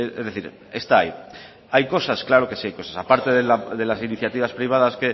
es decir está ahí hay cosas claro que sí hay cosas aparte de las iniciativas privadas